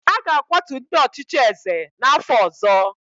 A ga-akwatu ndị ọchịchị eze n’afọ ọzọ